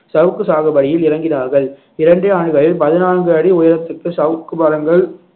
சவுக்கு சாகுபடியில் இறங்கினார்கள் இரண்டே ஆண்டுகளில் பதினான்கு அடி உயரத்திற்கு சவுக்கு மரங்கள்